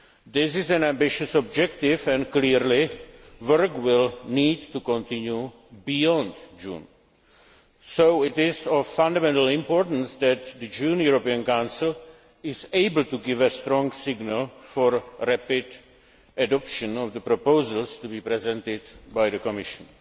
This is an ambitious objective and, clearly, work will need to continue beyond June, so it is of fundamental importance that the June European Council is able to give a strong signal for the rapid adoption of the proposals to be presented by the Commission.